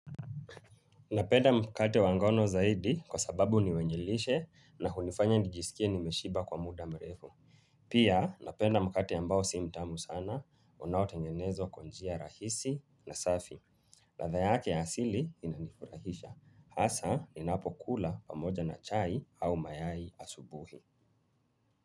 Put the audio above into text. Napenda mkate wangono zaidi kwa sababu ni wenyelishe na kunifanya nijisikie nimeshiba kwa muda mrefu. Pia napenda mkate ambao sii mtamu sana, unaotengenezwa kwa njia rahisi na safi. Latha yake asili inanifurahisha. Hasa, inapo kula pamoja na chai au mayai asubuhi.